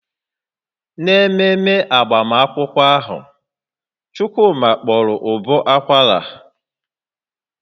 N'ememe agbamakwụkwọ ahụ, Chukwuma kpọrọ ụbọ akwara